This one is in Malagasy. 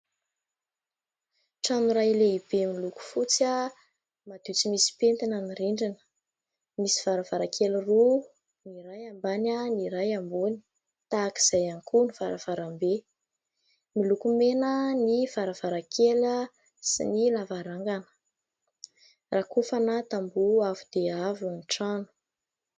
Trano iray lehibe miloko fotsy, madio tsy misy pentina ny rindrina. Misy varavarankely roa, ny iray ambany, ny iray ambony. Tahaka izay ihany koa ny varavarambe. Miloko mena ny varavarankely sy ny lavarangana. Rakofana tamboho avo dia avo ny trano.